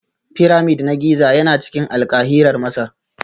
Pyramid na Giza yana cikin Alkahira Masar